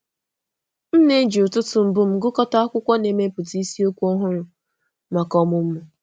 M na-eji ụtụtụ mbụ m gụkọta akwụkwọ na mepụta isiokwu ọhụrụ maka ọmụmụ.